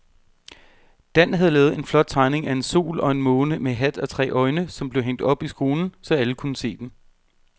Dan havde lavet en flot tegning af en sol og en måne med hat og tre øjne, som blev hængt op i skolen, så alle kunne se den.